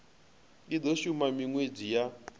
i do shuma minwedzi ya